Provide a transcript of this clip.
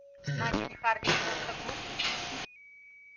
значит хардин просто глуп